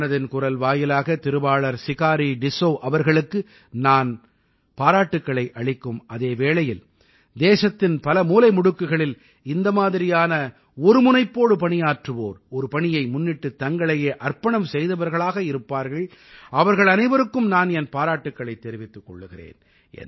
மனதின் குரல் வாயிலாக திருவாளர் சிகாரீ டிஸ்ஸௌ அவர்களுக்கு நான் பாராட்டுக்களை அளிக்கும் அதே வேளையில் தேசத்தின் பல மூலைமுடுக்குகளில் இந்த மாதிரியான ஒருமுனைப்போடு பணியாற்றுவோர் ஒரு பணியை முன்னிட்டுத் தங்களையே அர்ப்பணம் செய்தவர்களாக இருப்பார்கள் அவர்கள் அனைவருக்கும் நான் என் பாராட்டுக்களைத் தெரிவித்துக் கொள்கிறேன்